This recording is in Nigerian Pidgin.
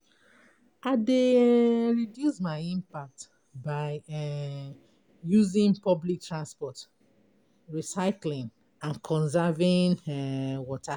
I dey um reduce my impact by um using public transport, recycling and conserving um water.